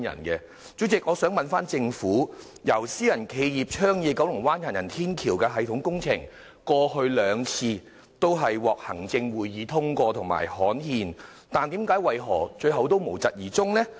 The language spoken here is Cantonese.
代理主席，我想問政府，由私人企業倡議的九龍灣行人天橋系統工程，過去兩次均獲行政會議通過和刊憲，但為何最後仍無疾而終？